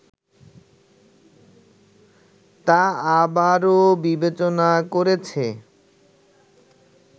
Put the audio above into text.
তা আবারও বিবেচনা করেছে